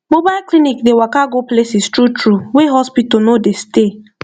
mobile clinic dey waka go places truetrue wey hospital no dey stay